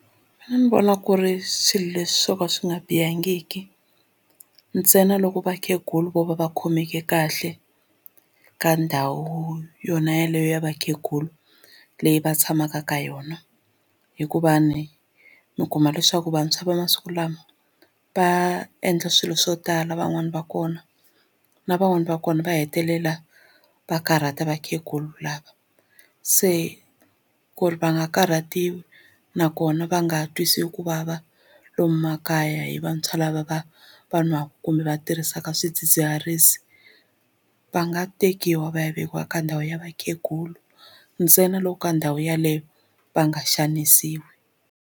A ni vona ku ri swilo leswi swo ka swi nga bihangiki ntsena loko vakhegula vo va va khomeke kahle ka ndhawu yona yeleyo ya vakhegula leyi va tshamaka ka yona hikuva ni mi kuma leswaku vantshwa va masiku lawa va endla swilo swo tala van'wani va kona na van'wani va kona va hetelela va karhata vakhegulu lava se ku ri va nga karhatiwi nakona va nga twisiwi ku vava lomu makaya hi vantshwa lava va va nwaka kumbe va tirhisaka swidzidziharisi va nga tekiwa va ya vekiwa ka ndhawu ya vakhegula ntsena loko ka ndhawu yeleyo va nga xanisiwi.